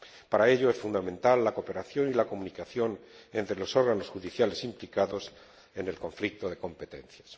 Para ello, es fundamental la cooperación y la comunicación entre los órganos judiciales implicados en el conflicto de competencias.